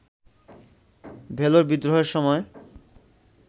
ভেলোর বিদ্রোহের সময়